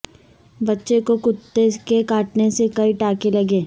بچہ کو کتے کے کاٹنے سے کئی ٹانکے لگے